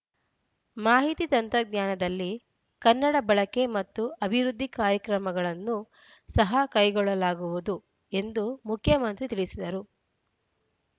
ಮಾಹಿತಿ ತಂತ್ರಜ್ಞಾನದಲ್ಲಿ ಕನ್ನಡ ಬಳಕೆ ಮತ್ತು ಅಭಿವೃದ್ಧಿ ಕಾರ್ಯಗಳನ್ನೂ ಸಹ ಕೈಗೊಳ್ಳಲಾಗುವುದು ಎಂದು ಮುಖ್ಯಮಂತ್ರಿ ತಿಳಿಸಿದ್ದಾರು